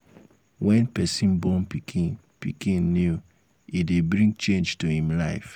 when person born pikin pikin new e dey bring change to im life